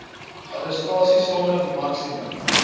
arrestasie sonder maksimum